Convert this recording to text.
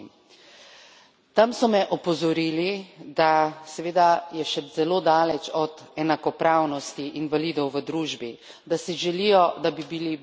Tam so me opozorili, da, seveda, je še zelo daleč od enakopravnosti invalidov v družbi, da si želijo, da bi bili bolj slišani.